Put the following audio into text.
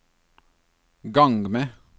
gang med